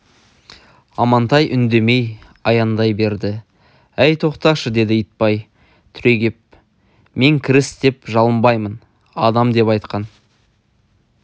амантай үндемей аяңдай берді әй тоқташы деді итбай түрегеп мен кіріс деп жалынбаймын адам деп айтқан